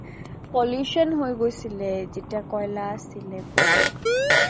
pollution হৈ গৈছিলে যেতিয়া কয়্লা আছিলে বহুত। তা